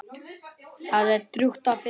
Það er drjúgt af fiski.